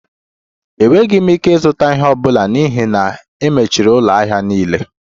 Enweghị m ike ịzụta ihe ọ bụla n'ihi na e mechiri ụlọ ahịa niile